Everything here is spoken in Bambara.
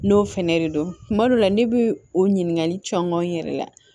N'o fɛnɛ de don kuma dɔ la ne bi o ɲininkali caman yɛrɛ la